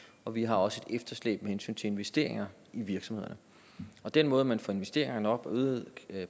og vi har også et efterslæb med hensyn til investeringer i virksomhederne den måde man får investeringer nok og øget